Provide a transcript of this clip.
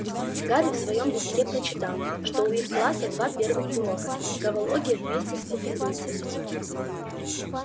гарри в своём листке прочитал что у их класса два первых урока травология вместе с пуффендуйцами